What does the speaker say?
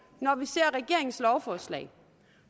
når vi ser regeringens lovforslag